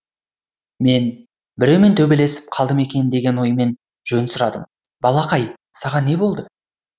мен біреумен төбелесіп қалды ма екен деген оймен жөн сұрадым балақай саған не болды